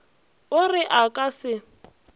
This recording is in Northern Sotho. o re a ka se